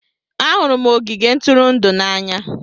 Ahụrụ m ogige ntụrụndụ n'anya.